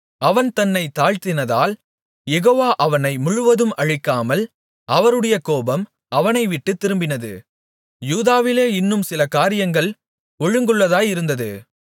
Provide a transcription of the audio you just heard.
அவன் தன்னைத் தாழ்த்தினதால் யெகோவா அவனை முழுவதும் அழிக்காமல் அவருடைய கோபம் அவனைவிட்டுத் திரும்பினது யூதாவிலே இன்னும் சில காரியங்கள் ஒழுங்குள்ளதாயிருந்தது